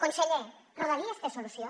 conseller rodalies té solució